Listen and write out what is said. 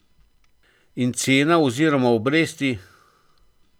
In cena oziroma obresti?